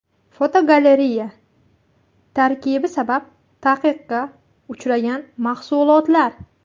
Fotogalereya: Tarkibi sabab taqiqqa uchragan mahsulotlar.